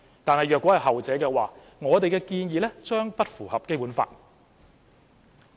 但如果是後者，我們的建議將不符合《基本法》。